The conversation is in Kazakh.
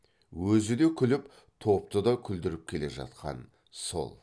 өзі де күліп топты да күлдіріп келе жатқан сол